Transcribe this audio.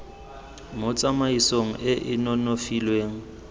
mo tsamaisong e e nonofileng